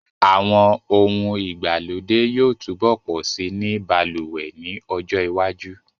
Àwọn ohun ìgbàlódé yóò túbọ̀ pọ̀ si ní balùwẹ̀ ní ọjọ́ iwájú